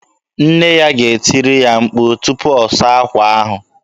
Nne ya ga-etiri ya mkpu tupu ọ saa akwa ahụ.